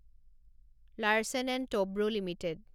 Larsen and Toubro limited